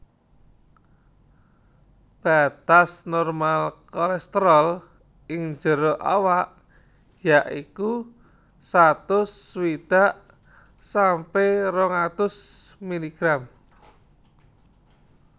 Batas normal kolesterol ing jero awak ya iku satus swidak sampe rong atus miligram